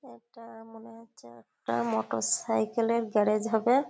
এটা মনে হচ্ছে একটা মোটর সাইকেল -এর গ্যারেজ হবে।